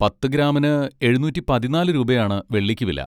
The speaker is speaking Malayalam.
പത്ത് ഗ്രാമിന് എഴുന്നൂറ്റി പതിന്നാല് രൂപയാണ് വെള്ളിക്ക് വില.